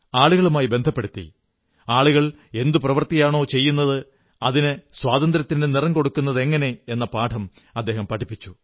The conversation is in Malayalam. ആളുകളുമായി ബന്ധപ്പെടുത്തി ആളുകൾ എന്തു പ്രവൃത്തിയാണോ ചെയ്യുന്നത് അതിന് സ്വാതന്ത്ര്യത്തിന്റെ നിറം കൊടുക്കുന്നതെങ്ങനെയെന്ന പാഠം പഠിപ്പിച്ചു